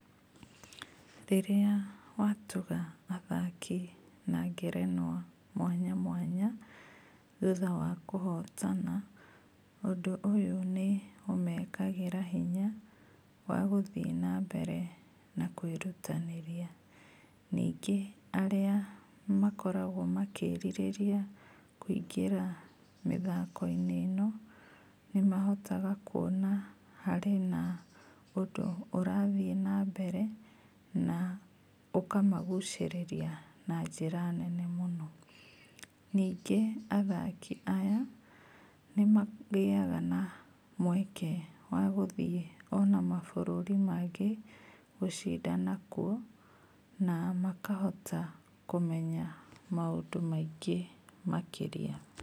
Rĩrĩa watuga athaki na ngerenwa mwanya mwanya thutha wa kũhotana, ũndũ ũyũ nĩ ũmekagĩra hinya wa gũthiĩ nambere na kũĩrutanĩria, ningĩ, arĩa makoragwo makĩrirĩria kũingĩra mĩthako-inĩ ĩno, nĩmahotaga kuona harĩ na ũndũ ũrathiĩ nambere, na ũkamagucĩrĩria na njĩra nene mũno. Ningĩ athaki aya nĩmagĩaga na kamweke gaguthiĩ ona mabũrũri mangĩ gũcindana kuo, na makahota kũmenya maũndũ maingĩ makĩria.